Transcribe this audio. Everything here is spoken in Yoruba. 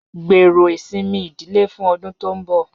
Gbero isinmi idile fun ọdun to nbọ